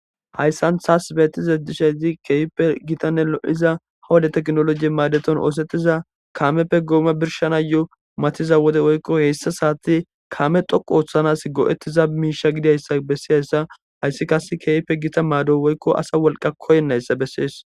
hayssan taas betize dishayzi keeyppe gitanne lo7iza hawade teknolojie maadeton oosetiza kaameppe gooma birshana yo7o matiza wode woykko heyssa saati kaame xoqu ooththanas go7ettiza miisha gidayssa bessiyayssa hayssi kase keeype gita maado woykko asa wolqa koynnayssa bessees